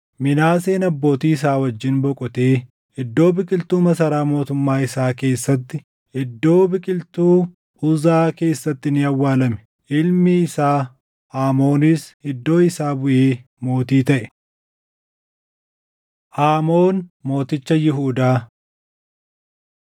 Minaaseen abbootii isaa wajjin boqotee iddoo biqiltuu masaraa mootummaa isaa keessatti, iddoo biqiltuu Uzaa keessatti ni awwaalame. Ilmi isaa Aamoonis iddoo isaa buʼee mootii taʼe. Aamoon Mooticha Yihuudaa 21:19‑24 kwf – 2Sn 33:21‑25